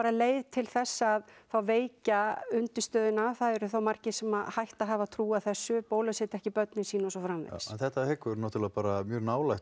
leið til þess að veikja undirstöðuna það eru það margir sem hætta að hafa trú á þessu bólusetja ekki börnin sín og svo framvegis þetta liggur náttúrulega bara mjög nálægt